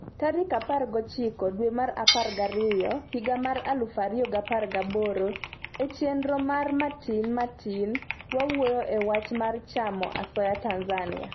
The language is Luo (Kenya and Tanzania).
tarik 19 dwe mar 12 higa 2018 e chenro mar matin tin, wawuoyo e wach mar chamo asoya Tanzania